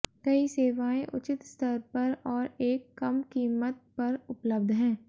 कई सेवाएं उचित स्तर पर और एक कम कीमत पर उपलब्ध हैं